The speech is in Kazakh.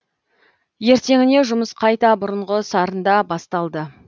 ертеңіне жұмыс қайта бұрынғы сарында басталды